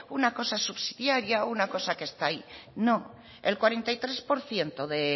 una cosa subsidiaria una cosa que está ahí no el cuarenta y tres por ciento